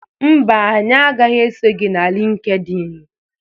Mba, anyị agaghị eso gị na LịnkedỊnị.